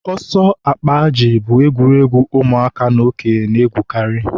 ọsọ akpa ajị bụ egwuregwu ụmụaka na okenye na-egwukarị